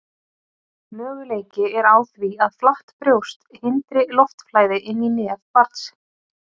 Möguleiki er á því að flatt brjóst hindri loftflæði inn í nef barns.